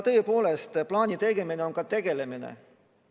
Tõepoolest, plaani tegemine on ka asjaga tegelemine.